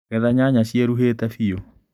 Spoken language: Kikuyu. Getha nyanya ciĩruhĩte biu.